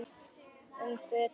um fötum.